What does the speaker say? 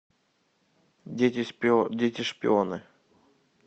дети шпионы